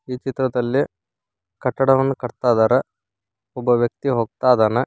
ಈ ಚಿತ್ರದಲ್ಲಿ ಕಟ್ಟಡವನ್ನು ಕಟ್ಟತಾಇದಾರೆ ಒಬ್ಬ ವ್ಯಕ್ತಿ ಹೋಗ್ತಾಇದಾನೆ.